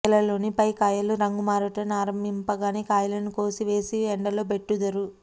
గెలలోని పై కాయలు రంగు మారుట నారంభింపగనే కాయలను కోసి వేసి ఎండలో బెట్టుదురు